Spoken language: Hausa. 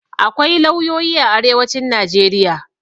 Akwai lauyoyi a arewacin Najeriya.